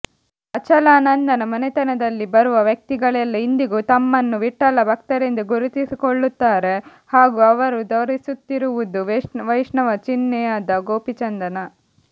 ಅಚಲಾನಂದನ ಮನೆತನದಲ್ಲಿ ಬರುವ ವ್ಯಕ್ತಿಗಳೆಲ್ಲ ಇಂದಿಗೂ ತಮ್ಮನ್ನು ವಿಠ್ಠಲ ಭಕ್ತರೆಂದೇ ಗುರುತಿಸಿಕೊಳ್ಳುತ್ತಾರೆ ಹಾಗೂ ಅವರು ಧರಿಸುತ್ತಿರುವುದು ವೈಷ್ಣವ ಚಿಹ್ನೆಯಾದ ಗೋಪಿಚಂದನ